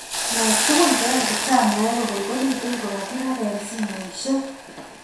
Nai tugun che oeekijanaek kokokolitu ko ka kirebee simosiek